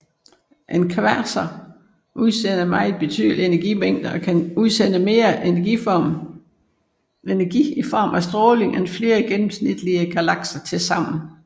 En kvasar udsender meget betydelige energimængder og kan udsende mere energi i form af stråling end flere gennemsnitlige galakser tilsammen